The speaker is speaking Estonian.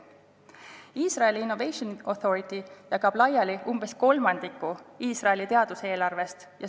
Iisraeli Innovation Authority jagab laiali umbes kolmandiku Iisraeli teaduseelarvest.